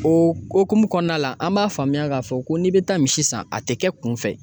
O hukumu kɔnɔna la an b'a faamuya k'a fɔ ko n'i bɛ taa misi san a tɛ kɛ kun fɛ